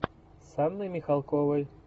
с анной михалковой